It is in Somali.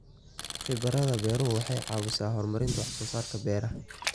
Khibrada beeruhu waxay caawisaa horumarinta wax soo saarka beeraha.